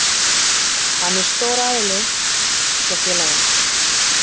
Hann er stór aðili hjá félaginu.